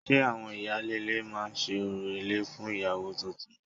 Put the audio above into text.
Ṣe àwọn ìyáálé ilé máa ṣe orò ilé fún ìyàwó tuntun?